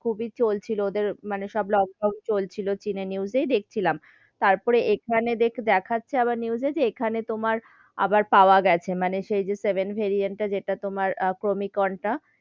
খুবই চলছিল, মানে ওদের লোকডাউন চলছিল, চীনের news এ দেখছিলাম, তার পরে এখানে এখানে দেখাচ্ছে আবার news এ তোমার আবার পাওয়া গেছে, মানে সেই যে seven varient টা, যেটা তোমার কমিক্রন টা,